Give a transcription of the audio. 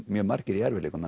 mjög margir í erfiðleikum